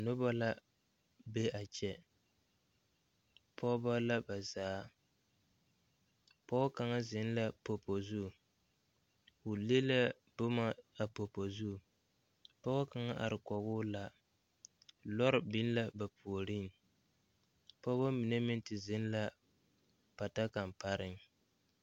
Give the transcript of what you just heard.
Noba la be a kyɛ pɔgeba la ba zaa pɔge kaŋ zeŋ la popo zu o le la boma a popo zu pɔge kaŋ are kɔŋ o la lɔre biŋ la ba puoriŋ pɔgeba mine meŋ te zeŋ la pata kaŋ pareŋ.